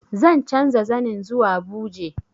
Zan canza zanin zuwa buje